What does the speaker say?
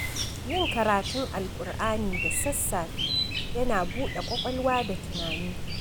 Yin karatun Alkur'ani da sassafe yana buɗe ƙwaƙwalwa da tunani.